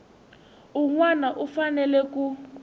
un wana u fanele ku